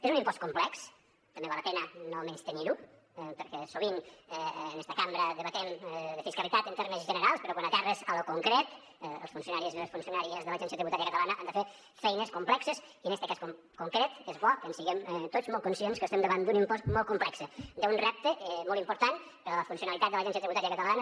és un impost complex també val la pena no menystenir ho perquè sovint en esta cambra debatem de fiscalitat en termes generals però quan aterres a lo concret els funcionaris i les funcionàries de l’agència tributària catalana han de fer feines complexes i en este cas concret és bo que en siguem tots molt conscients que estem davant d’un impost molt complex d’un repte molt important per a la funcionalitat de l’agència tributària catalana